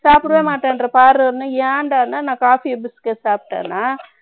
சாப்புடவே மாட்டேன்ற, பாருன்னு, ஏன்டான்னா, நான், coffee, biscuit சாப்பிட்டேன்னா